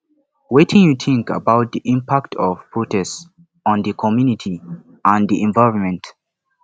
wetin you think about di impact of protest on di community and di environment